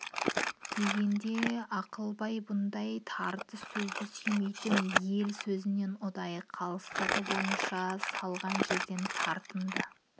дегенде ақылбай бұндай тартыс сөзді сүймейтін ел сөзінен ұдайы қалыстығы бойынша салған жерден тартынды